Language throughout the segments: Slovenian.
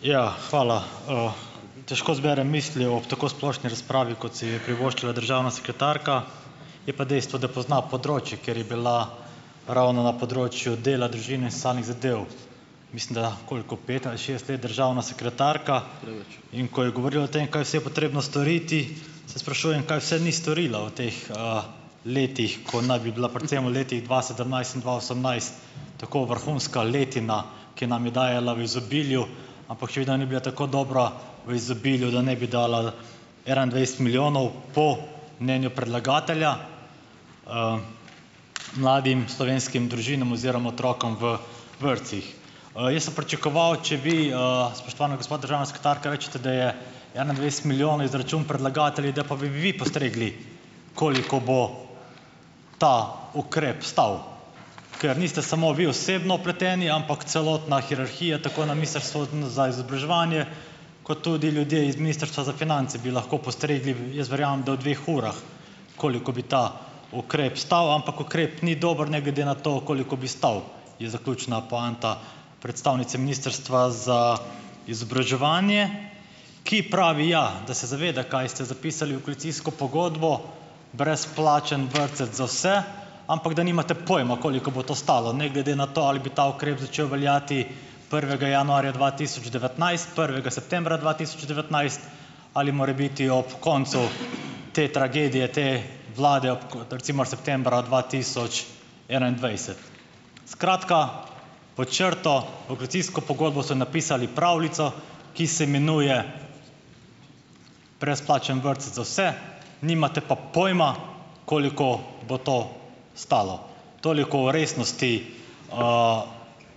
Ja, hvala. Težko zberem misli ob tako splošni razpravi, kot si jo je privoščila državna sekretarka, je pa dejstvo, da pozna področje, ker je bila ravno na področju dela, družine in samih zadev, mislim, da koliko, pet ali šest let državna sekretarka, in ko je govorila o tem, kaj vse je potrebno storiti, se sprašujem, kaj vse ni storila v teh, letih, ko naj bi bila predvsem v letih dva sedemnajst in dva osemnajst tako vrhunska letina, ki nam je dajala v izobilju, ampak še vedno ni bila tako dobra, v izobilju, da ne bi dala enaindvajset milijonov, po mnenju predlagatelja, mladim slovenskih družinam oziroma otrokom v vrtcih. jaz sem pričakoval, če vi, spoštovana gospa državna sekretarka, rečete, da je enaindvajset milijonov izračun predlagateljev, da pa bi vi postregli, koliko bo ta ukrep stal. Ker niste samo vi osebno vpleteni, ampak celotna hierarhija tako na ministrstvu, za izobraževanje, kot tudi ljudje iz ministrstva za finance bi lahko postregli v - jaz verjamem, da v dveh urah, koliko bi ta ukrep stal, ampak ukrep ni dober, ne glede na to, koliko bi stal, je zaključna poanta predstavnice Ministrstva za izobraževanje, ki pravi, ja, da se zaveda, kaj ste zapisali v koalicijsko pogodbo, brezplačen vrtec za vse, ampak da nimate pojma, koliko bo to stalo, ne glede na to, ali bi ta ukrep začel veljati prvega januarja dva tisoč devetnajst, prvega septembra dva tisoč devetnajst, ali morebiti ob koncu te tragedije te vlade, ob recimo septembra dva tisoč enaindvajset. Skratka, pod črto v koalicijsko pogodbo so napisali pravljico, ki se imenuje brezplačen vrtec za vse, nimate pa pojma, koliko bo to stalo. Toliko o resnosti,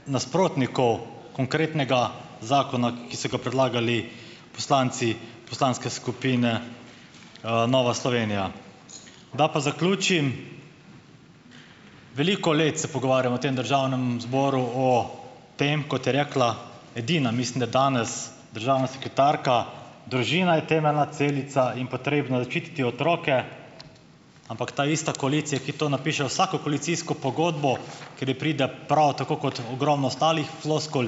nasprotnikov konkretnega zakona, ki so ga predlagali poslanci poslanske skupine, Nova Slovenija. Da pa zaključim. Veliko let se pogovarjamo v tem državnem zboru o tem, kot je rekla edina, mislim da danes, državna sekretarka: "Družina je temeljna celica in potrebno je ščititi otroke." Ampak ta ista koalicija, ki to napiše v vsako koalicijsko pogodbo, ker ji pride prav, tako kot ogromno ostalih floskul,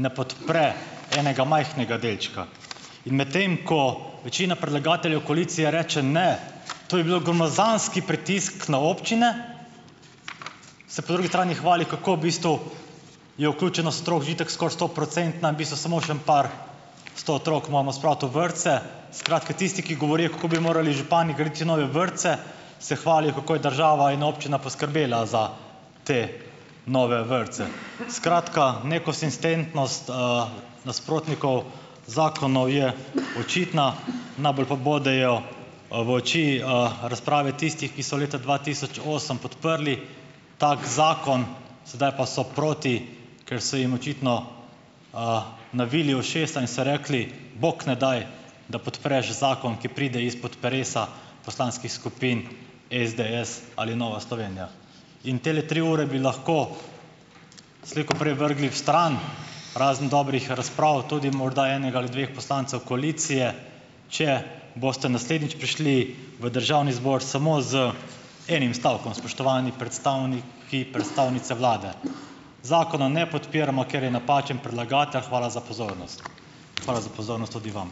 ne podpre enega majhnega delčka. In medtem ko večina predlagateljev koalicije reče: "Ne, to bi bil gromozanski pritisk na občine," se po drugi strani hvali, kako v bistvu je vključenost otrok že itak skoraj stoprocentna, v bistvu samo še en par sto otrok moramo spraviti v vrtce. Skratka, tisti, ki govorijo, kako bi morali župani graditi nove vrtce, se hvalijo, kako je država in občina poskrbela za te nove vrtce. Skratka, nekonsistentnost, nasprotnikov zakonov je očitna, najbolj pa bodejo, v oči, razprave tistih, ki so leta dva tisoč osem podprli tak zakon, sedaj pa so proti, ker so jim očitno, navili ušesa in so rekli: "Bog ne daj, da podpreš zakon, ki pride izpod peresa poslanskih skupin SDS ali Nova Slovenija." In tele tri ure bi lahko slej ko prej vrgli stran, razen dobrih razprav, tudi morda enega ali dveh poslancev koalicije, če boste naslednjič prišli v državni zbor samo z enim stavkom, spoštovani predstavniki, predstavnice vlade: "Zakonov ne podpiramo, ker je napačen predlagatelj, hvala za pozornost." Hvala za pozornost tudi vam.